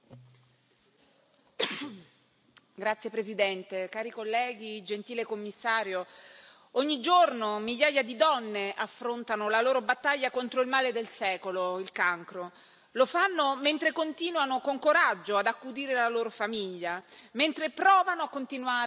Signor Presidente, onorevoli colleghi, gentile Commissario, ogni giorno migliaia di donne affrontano la loro battaglia contro il male del secolo, il cancro. Lo fanno mentre continuano con coraggio ad accudire la loro famiglia, mentre provano a continuare a lavorare nonostante tutto.